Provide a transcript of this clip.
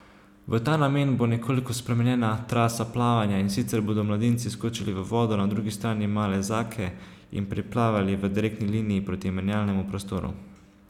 V ta namen bo nekoliko spremenjena trasa plavanja, in sicer bodo mladinci skočili v vodo na drugi strani Male Zake in priplavali v direktni liniji proti menjalnemu prostoru.